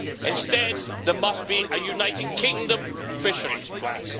Instead, there must be a United Kingdom fisheries plan.